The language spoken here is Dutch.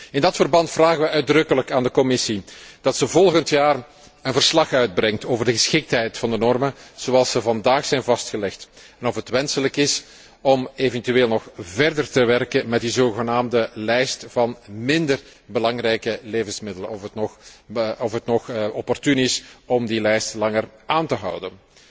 In dat verband vragen wij uitdrukkelijk aan de Commissie dat zij volgend jaar een verslag uitbrengt over de geschiktheid van de normen zoals zij vandaag zijn vastgelegd. En of het wenselijk is om eventueel nog verder te werken met die zogenaamde lijst van minder belangrijke levensmiddelen, of het nog opportuun is om die lijst nog langer aan te houden.